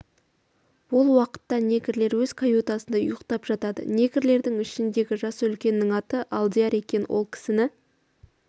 ол уақытта негрлер өз каютасында ұйықтап жатады негрлердің ішіндегі жасы үлкенінің аты алдияр екен ол кісіні